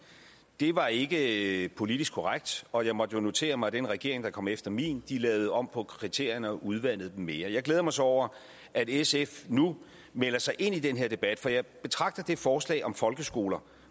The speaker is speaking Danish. det var ikke ikke politisk korrekt og jeg måtte jo notere mig at den regering der kom efter min lavede om på kriterierne og udvandede dem mere jeg glæder mig så over at sf nu melder sig ind i den her debat for jeg betragter det forslag om folkeskolen